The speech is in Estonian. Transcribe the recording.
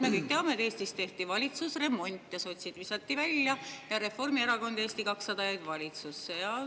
Me kõik teame, et Eestis tehti ära valitsusremont, sotsid visati välja ning Reformierakond ja Eesti 200 jäid valitsusse.